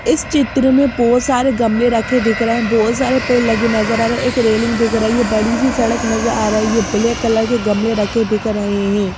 इस चित्र में बहुत सारे गमले रखे दिख रहे हैं बहुत सारे पेड़ लगे नजर आ रहे हैं एक रेलिंग दिख रहा हैं ये बड़ी सी सड़क नजर आ रहा हैं ये ब्लैक कलर के गमले रखे देख रहे हैं।